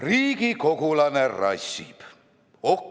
Riigikogulane rassib!